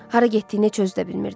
Hara getdiyini heç özü də bilmirdi.